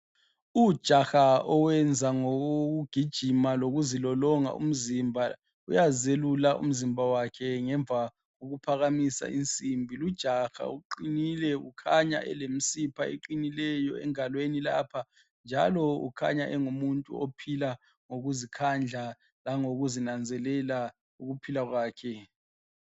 Ujaha owenza ngokugijima lokuzilolonga umzimba uyazelula umzimba wakhe kokuphakamisa insimbi. Lujaha uqinile kukhanya elemsipha eqinileyo engalweni lapha njalo ukhanya engumuntu ophila ngokuzikhandla langokuzinanzelela ukuphila kwakhe.